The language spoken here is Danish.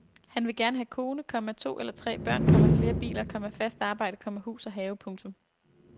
Han vil gerne have kone, komma to eller tre børn, komma flere biler, komma fast arbejde, komma hus og have. punktum